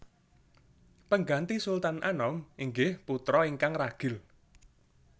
Pengganti Sultan Anom inggih putra ingkang ragil